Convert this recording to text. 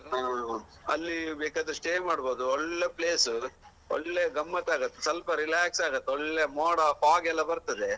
ಹಾ ಅಲ್ಲಿ ಬೇಕಾದ್ರೆ stay ಮಾಡ್ಬಹುದು ಒಳ್ಳೆ place ಒಳ್ಳೆ ಗಮ್ಮತ್ತಾಗತ್ತೆ ಸ್ವಲ್ಪ relax ಆಗತ್ತೆ ಒಳ್ಳೆ ಮೋಡ fog ಎಲ್ಲಾ ಬರ್ತದೆ.